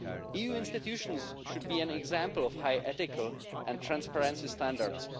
EU institutions should be an example of high ethical and transparency standards.